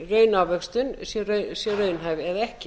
raunávöxtun sé raunhæf eða ekki